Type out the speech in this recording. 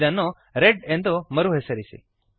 ಇದನ್ನು ರೆಡ್ ಎಂದು ಮರುಹೆಸರಿಸಿರಿ